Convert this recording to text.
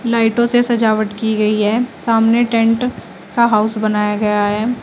लाइटों से सजावट की गई है सामने टेंट का हाउस बनाया गया है।